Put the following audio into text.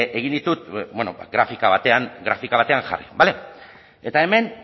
egin ditut bueno grafika batean grafika batean jarri bale eta hemen